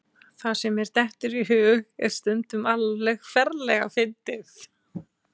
Það sem mér dettur í hug er stundum alveg ferlega fyndið.